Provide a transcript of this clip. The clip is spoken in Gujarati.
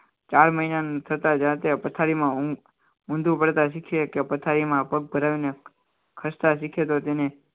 ચાર મહિનાના જાતે પથારીમાં ઊંધું પડતા શીખીએ કે પથારીમાં પગ ભરાવીને ખસતા શીખે તો તેને